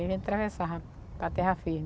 Aí a gente atravessava para terra firme.